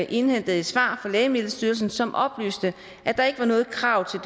indhentede svar fra lægemiddelstyrelsen som oplyste at der ikke var noget krav